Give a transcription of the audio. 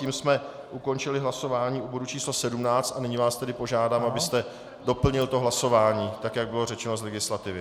Tím jsme ukončili hlasování u bodu číslo 17 a nyní vás tedy požádám, abyste doplnil to hlasování tak, jak bylo řečeno z legislativy.